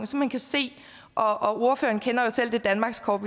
og ordføreren kender selv det danmarkskort